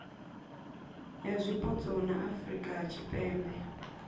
ya zwipotso ya afurika tshipembe